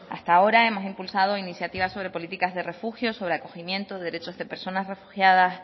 hasta ahora hemos impulsado iniciativas sobre políticas de refugio sobre acogimiento derechos de personas refugiadas